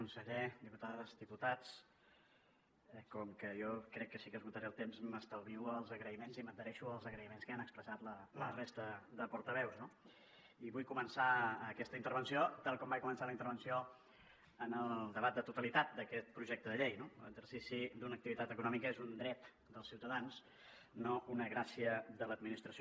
conseller diputades diputats com que jo crec que sí que esgotaré el temps m’estalvio els agraïments i m’adhereixo als agraïments que ja han expressat la resta de portaveus no i vull començar aquesta intervenció tal com vaig començar la intervenció en el debat de totalitat d’aquest projecte de llei no l’exercici d’una activitat econòmica és un dret dels ciutadans no una gràcia de l’administració